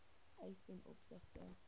eis ten opsigte